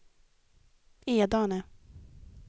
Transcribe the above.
Edane